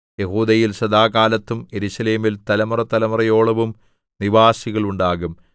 യെഹൂദയിൽ സദാകാലത്തും യെരൂശലേമിൽ തലമുറതലമുറയോളവും നിവാസികളുണ്ടാകും